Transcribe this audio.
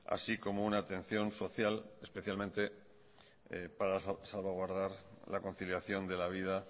así como una atención social especialmente para salvaguardar la conciliación de la vida